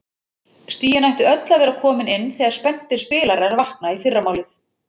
Stigin ættu öll að vera komin inn þegar spenntir spilarar vakna í fyrramálið.